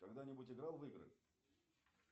когда нибудь играл в игры